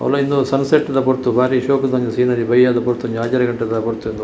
ಅವುಲ ಇಂದು ಸನ್ಸೆಟ್ ದ ಪೊರ್ತು ಬಾರಿ ಶೋಕುದ ಒಂಜಿ ಸೀನರಿ ಬಯ್ಯದ ಪೊರ್ತು ಒಂಜಿ ಆಜರೆ ಗಂಟೆದ ಪೊರ್ತು ಉಂದು.